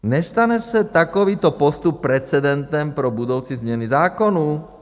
Nestane se takovýto postup precedentem pro budoucí změny zákonů?